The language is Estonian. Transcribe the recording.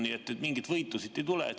Nii et mingit võitu siit ei tule.